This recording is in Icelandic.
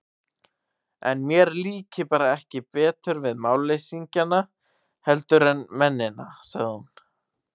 Ætli mér líki bara ekki betur við málleysingjana heldur en mennina, sagði hún.